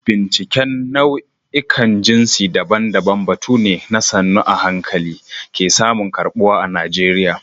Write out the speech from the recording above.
Binciken nau'ikan jinsi daban-daban batu ne da sannu a hankali ke samun karɓuwa a Najeriya.